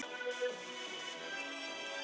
Ég finn bara að ég er í öðruvísi loftslagi.